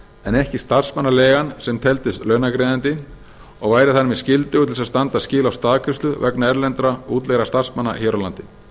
en ekki starfsmannaleigan sem teldist launagreiðandi og væri þar með skyldugur til þess að standa skil á staðgreiðslu vegna erlendra útleigðra starfsmanna hér á landi